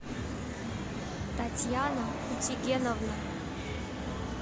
татьяна утигеновна